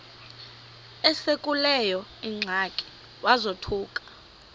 esekuleyo ingxaki wazothuka